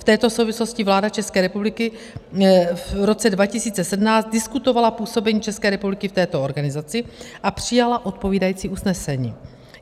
V této souvislosti vláda České republiky v roce 2017 diskutovala působení České republiky v této organizaci a přijala odpovídající usnesení.